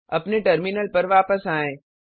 अपने टर्मिनल पर वापस आएँ